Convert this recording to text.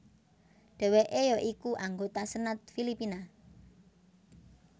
Dheweke ya iku anggota Senat Filipina